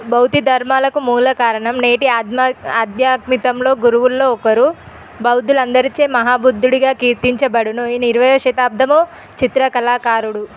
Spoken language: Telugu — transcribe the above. బౌద్ధ దర్మ్యాలకు మూలకారణం నేటి అధ్యమాకు ఆధ్యాత్మలో గురువు లో ఒకరు. బౌద్ధులందరిచే మహాబుద్ధిగా కెర్థించేబడను. ఈయన ఇరవై శతబడం చిత్రకళాకారుడు.